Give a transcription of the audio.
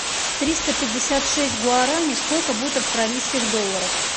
триста пятьдесят шесть гуарани сколько будет австралийских долларов